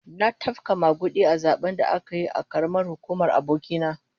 An tafka magudi a zaben da aka yi a karamar hukumar aboki na